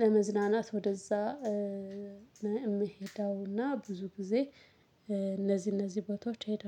ለመዝናናት ወደዛ። እምሄደውና ብዙ ጊዜ እነዚህ እነዚህ ቦታዎች ሄደ